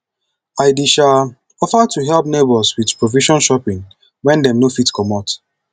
i dey um offer to help neighbors with provision shopping wen dem no fit comot